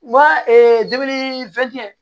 Wa dumuni fɛn